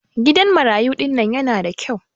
gidan marayu dinnan yanada kyau